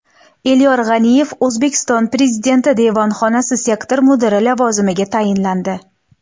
Elyor G‘aniyev O‘zbekiston Prezidenti devonxonasi sektor mudiri lavozimiga tayinlandi.